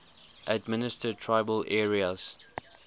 administered tribal areas